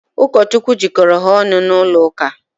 Ụkọchukwu jikọrọ ha ọnụ n'ụlọ ụka.